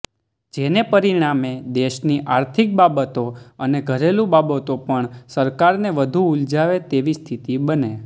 જેને પરિણામે દેશની આર્થિક બાબતો અને ઘરેલું બાબતો પણ સરકારને વધું ઉલઝાવે તેવી સ્થિતિ બને